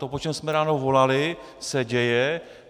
To, po čem jsme ráno volali, se děje.